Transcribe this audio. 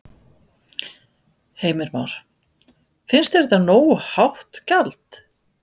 Heimir Már: Finnst þér þetta nógu hátt gjald?